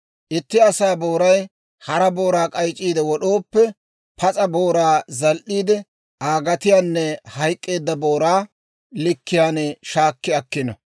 «Itti asaa booray hara booraa k'ayc'c'iide wod'ooppe, pas'a booraa zal"iide, Aa gatiyaanne hayk'k'eedda booraa likkiyaan shaakki akkino.